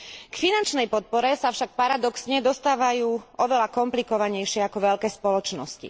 K finančnej podpore sa však paradoxne dostávajú oveľa komplikovanejšie ako veľké spoločnosti.